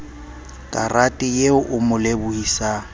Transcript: karate eo o mo lebohisang